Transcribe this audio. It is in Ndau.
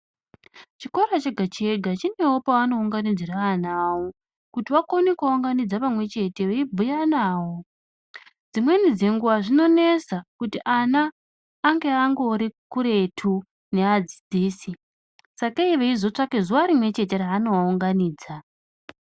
Chikora chega chega chinewo pavanounganidzira ana avo kuti vakone kuvaunganidza pamwechete veibhuya navo. Dzimweni dzenguwa zvinonesa kuti ana ange angori kuretu neadzidzisi sakei vachizotsvaka zuwa rimwechete revanovaunganidza.